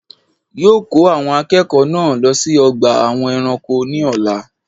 Yóò ko àwon akéèkó náà lo sí ogbà àwọn eranko ní òla